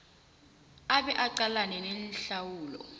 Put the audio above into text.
abe aqalane nehlawulo